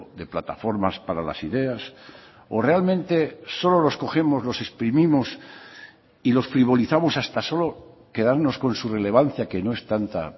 de plataformas para las ideas o realmente solo los cogemos los exprimimos y los frivolizamos hasta solo quedarnos con su relevancia que no es tanta